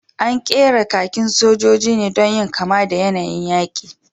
An ƙera kakin sojoji ne don yin kama da yanayin yaƙi